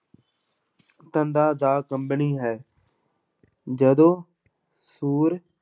ਤੰਦਾਂ ਦਾ ਕੰਬਣੀ ਹੈ ਜਦੋਂ ਸੁਰ